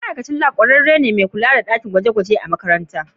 ma'aikacin lab kwararre ne mai kula da dakin gwaje-gwaje na makaranta